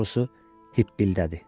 Daha doğrusu, hikkələndi.